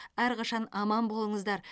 әрқашан аман болыңыздар